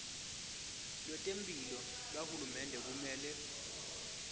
lwetemphilo lwahulumende kumele